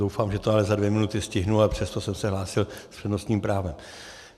Doufám, že to ale za dvě minuty stihnu, a přesto jsem se hlásil s přednostním právem.